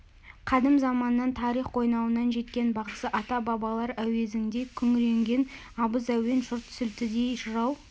қадым заманнан тарих қойнауынан жеткен бағзы ата-бабалар әуезіңдей күңіренген абыз әуен жұрт сілтідей жырау